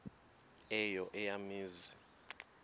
eyo eya mizi